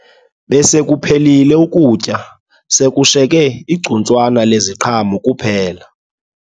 Besekuphelile ukutya sekushiyeke igcuntswana leziqhamo kuphela